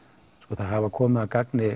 það hafa komið að gagni